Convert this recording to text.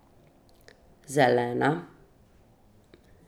Zelena.